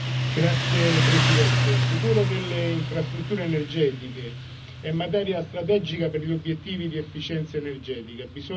Signor Presidente, il futuro delle infrastrutture energetiche è materia strategica per gli obiettivi di efficienza energetica.